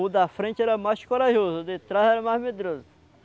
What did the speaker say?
O da frente era mais corajoso, o de trás era mais medroso.